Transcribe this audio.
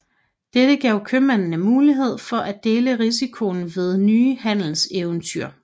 Det gav købmændene mulighed for at dele risikoen ved nye handelseventyr